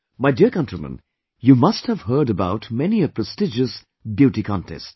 My dear countrymen, you must have heard about many a prestigious beauty contest